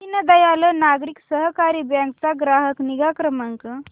दीनदयाल नागरी सहकारी बँक चा ग्राहक निगा क्रमांक